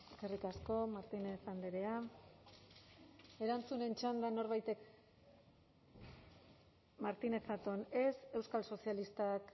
eskerrik asko martínez andrea erantzunen txandan norbaitek martínez zatón ez euskal sozialistak